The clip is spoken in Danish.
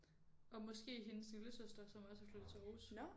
Og måske hendes lillesøster som også er flyttet til Aarhus